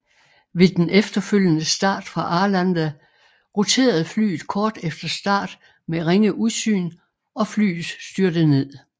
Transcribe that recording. Ved den efterfølgende start fra Arlanda roterede flyet kort efter start med ringe udsyn og flyet styrtede ned